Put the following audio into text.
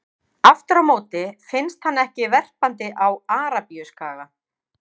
Aftur á móti finnst hann ekki verpandi á Arabíuskaga.